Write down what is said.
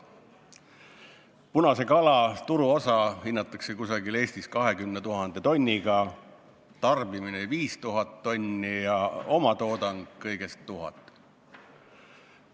Punase kala turuosa hinnatakse Eestis umbes 20 000 tonnile, tarbimine on 5000 tonni ja omatoodang kõigest 1000 tonni.